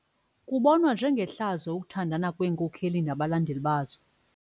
Kubonwa njengehlazo ukuthandana kweenkokeli nabalandeli bazo.